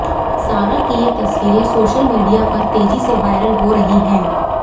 सारा की ये तस्वीरें सोशल मीडिया पर तेज़ी से वायरल हो रही हैं